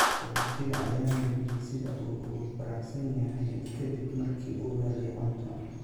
Qaxoontiga ayaa muujiyay sida uu ugu faraxsan yahay ka dib markii uu helay cunto.